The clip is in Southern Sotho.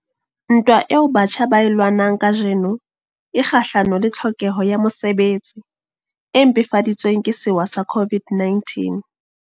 Ntwa eo batjha ba e lwanang kajeno e kgahlano le tlhokeho ya mosebetsi, e mpefadi tsweng ke sewa sa COVID-19.